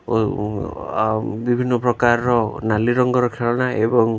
ଓ ଉଁ ଆଉ ବିଭିନ୍ନ ପ୍ରକାରର ନାଲି ରଙ୍ଗର ଖେଳଣା ଏବଂ--